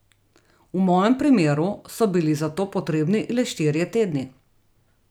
V mojem primeru so bili za to potrebni le štirje tedni!